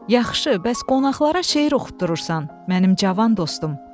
Yaxşı, bəs qonaqlara şeir oxutdurursan, mənim cavan dostum.